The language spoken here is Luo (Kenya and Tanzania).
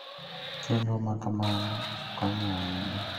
Chenro ma kamano konyo ahinya.